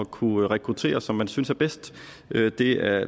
kunne rekruttere som man synes er bedst det er